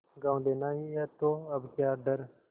गॉँव लेना ही है तो अब क्या डर